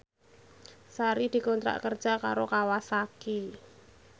Sari dikontrak kerja karo Kawasaki